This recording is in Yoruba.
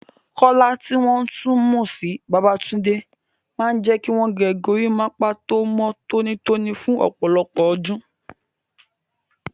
Kola, tí wọ́n tún mọ̀ sí Babatunde, máa ń jẹ́ kí wọ́n gé gorímápá tó mọ́ tónítóní fún ọ̀pọ̀lọpọ̀ ọdún.